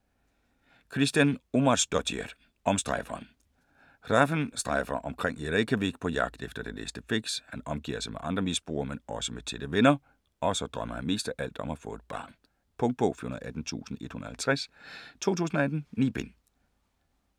Kristín Ómarsdóttir: Omstrejferen Hrafn strejfer omkring i Reykjavik på jagt efter det næste fix. Han omgiver sig med andre misbrugere men også med tætte venner. Og så drømmer han mest af alt om at få et barn. Punktbog 418150 2018. 9 bind.